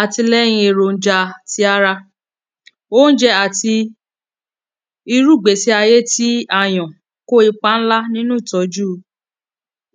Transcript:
Àtìlẹyìn èròjà ti ara. Óúnjẹ àti irú ìgbésí ayé tí a yàn kó ipa ńlá nínú ìtọ́jú